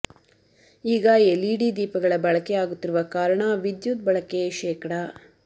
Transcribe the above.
ಈಗ ಎಲ್ಇಡಿ ದೀಪಗಳ ಬಳಕೆ ಆಗುತ್ತಿರುವ ಕಾರಣ ವಿದ್ಯುತ್ ಬಳಕೆ ಶೇ